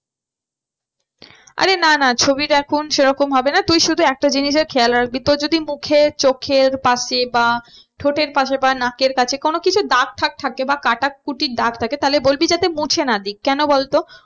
আরে না না ছবির এখন সে রকম হবে না তুই শুধু একটা জিনিসের খেয়াল রাখবি তোর যদি মুখে চোখের পাশে বা ঠোঁটের পাশে বা নাকের কাছে কোনো কিছু দাগ বা কাটাকুটির দাগ থাকে তাহলে বলবি যাতে মুছে না দিক। কেন বলতো?